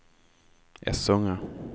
Essunga